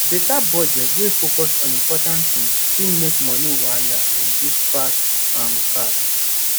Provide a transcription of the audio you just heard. better budget wey focus on important things fit make money wahala reduce fast um fast